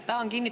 Aitäh!